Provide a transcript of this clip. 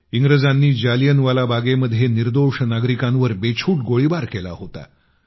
इंग्रजांनी जालियनवाला बागेमध्ये निर्दोष नागरिकांवर बेछूट गोळीबार केला होता